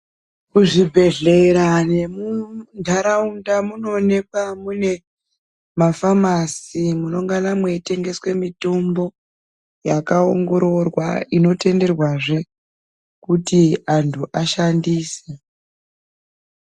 Muzvibhedhleya nemuntaraunda munooneka mune mafamasi munengene meitengeswe mitombo yakaingororwa inotenderwazve kuti antu ashandise.